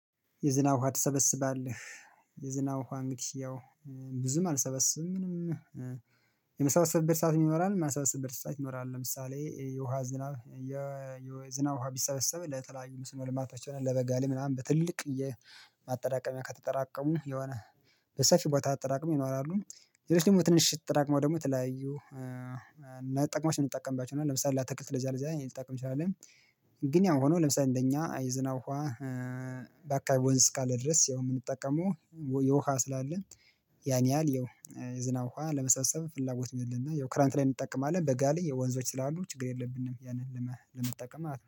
የዝናብ ውሃ ትሰበስባለህ? የዝናብ ውሃ እንግዲህ ያው ብዙም አልሰበስብም። የምሰበስብበትም ሰዓት ይኖራል የማልሰበስብበትም ሰዓት ይኖራል። ለምሳሌ የውሃ ዝናብ የዝናብ ውሃ ቢሰበሰብ ለተለያዩ መስኖ ልማቶች ይሆናል። ለበጋ ላይ ምናምን በትልቅዬ ማጠራቀሚያ ከተጠራቀሙ ይሆና በሰፊው ቦታ አጠራቅመው ይኖራሉ። ሌሎች ደግሞ ትንንሽ ተጠራቅመው ትጠራቅመው ደግሞ ተለያዩ እና ጥቅማች የምንጠቀምባችሁ ይሆናል። ለምሳሌ አታክልት ለዚያ ለዚያ ልንጠቅም እንችላለን። ግን ያው ሆኖ ለምሳሌ እንደኛ የዝናብ ውሃ በአካባቢ ወንዝ እስካለ ድረስ ያው የምንጠቀመው የውሃ ስላለ። ያን ያህል የዝናብ ውሃ ለመሳሰብ ፍላጎት የለነ። ያው ክረምት ላይ እንጠቀማለን በጋ ላይ የወንዞች ስላሉ ችግር የለብንም ያንን ለመጠቀም ማለት ነው